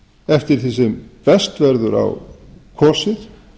eftir því sem best verður á kosið